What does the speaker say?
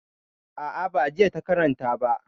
A'a, ba jinya ta karanta ba.